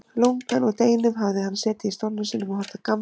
Lungann úr deginum hafði hann setið í stólnum sínum og horft á gamlar